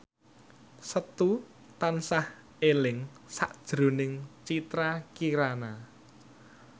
Setu tansah eling sakjroning Citra Kirana